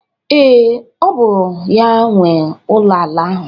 Ee, ọ bụ ya nwe ụlọ ala ahụ.